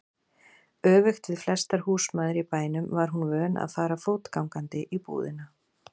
Öfugt við flestar húsmæður í bænum var hún vön að fara fótgangandi í búðina.